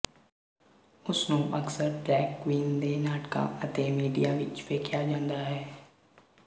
ਉਸਨੂੰ ਅਕਸਰ drag queen ਦੇ ਨਾਟਕਾਂ ਅਤੇ ਮੀਡੀਆ ਵਿੱਚ ਵੇਖਿਆ ਜਾਂਦਾ ਹੈ